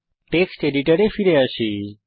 text এডিটরে ফিরে আসি